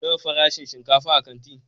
Nawa farashin shinkafa a kanti?